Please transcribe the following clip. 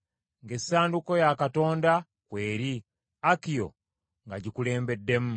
ng’essanduuko ya Katonda kweri, Akiyo ng’agikulembeddemu.